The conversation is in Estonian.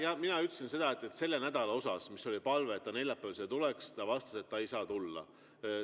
Jah, mina ütlesin seda, et palvele selle nädala osas, et ta neljapäeval siia tuleks, ta vastas, et ta ei saa tulla.